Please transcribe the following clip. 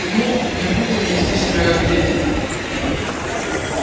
ну не будем вести себя как дети